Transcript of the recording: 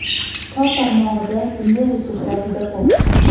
Tor tarmog‘ida bunday resurslar juda ko‘p.